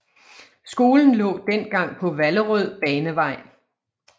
Skolen lå dengang på Vallerød Banevej